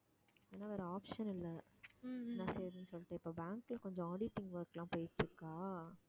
ஆனா வேற option இல்ல நான் செய்யறேன்ன்னு சொல்லிட்டேன், இப்ப bank ல கொஞ்சம் auditing work எல்லாம் போயிட்டு இருக்கா